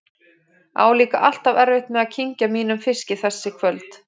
Á líka alltaf erfitt með að kyngja mínum fiski þessi kvöld.